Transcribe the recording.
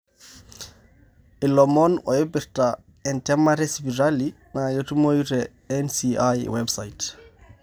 ilomon opirta entemata esipitali na ketumoyu te NCI website.